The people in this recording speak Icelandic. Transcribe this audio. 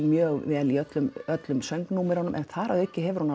mjög vel í öllum öllum söngnúmerum en einnig hefur hún